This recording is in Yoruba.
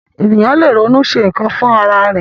Ènìyàn lè ronú ṣe nkan fún ará ẹ.